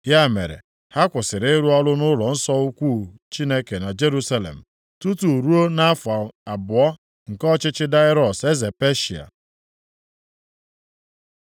Ya mere, ha kwụsịrị ịrụ ọrụ nʼụlọnsọ ukwu Chineke na Jerusalem tutu ruo nʼafọ abụọ nke ọchịchị Daraiọs eze Peshịa.